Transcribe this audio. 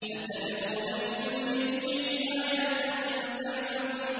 أَتَبْنُونَ بِكُلِّ رِيعٍ آيَةً تَعْبَثُونَ